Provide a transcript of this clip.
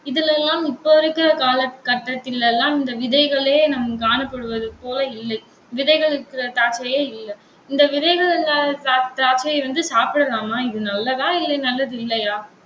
இதுல எல்லாம் இப்போதைக்கு இருக்கிற காலகட்டத்தில் எல்லாம் இந்த விதைகளே நாம் காணப்படுவது போல இல்லை. விதைகள் இருக்கிற திராட்சையே இல்லை இந்த விதைகள் இல்லாத திரா~ திராட்சை வந்து சாப்பிடலாமா? இது நல்லதா? இல்லை நல்லதில்லையா?